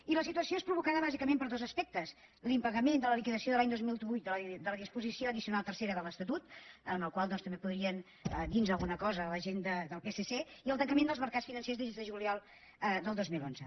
i la situació és provocada bàsicament per dos aspectes l’impagament de la liquidació de l’any dos mil vuit de la disposició addicional tercera de l’estatut del qual doncs també podrien dir nos alguna cosa la gent del psc i el tancament dels mercats financers des de juliol del dos mil onze